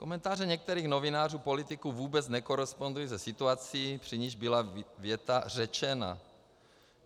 Komentáře některých novinářů, politiků vůbec nekorespondují se situací, při níž byla věta řečena.